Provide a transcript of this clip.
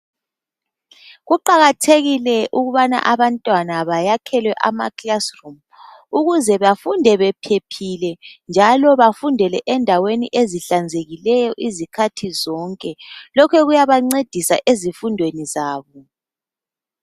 Kuqakathekile ukuthi abantwana bakhelwe amakilasi ukuze bafunde bephephile njalo bafundele endaweni ehlanzekileyo izikhathi zonke. Lokho kuyabancedisa ezifundweni zabo.